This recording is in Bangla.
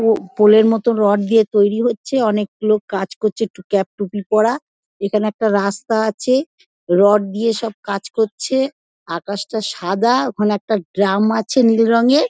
ও পোল -এর মতো রড তৈরি হচ্ছে। অনেক লোক কাজ করছে টু ক্যাপ টুপি পড়া। এখানে একটা রাস্তা আছে-এ রড দিয়ে সব কাজ করছে। আকাশটা সাদা। ওখানে একটা ড্রাম আছে নীল রঙের--